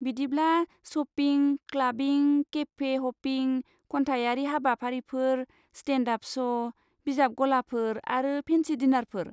बिदिब्ला, shopping, clubbing, cafe hopping, खन्थाइयारि हाबाफारिफोर, स्टेन्ड आप श', बिजाब गलाफोर आरो फेन्सि डिनारफोर।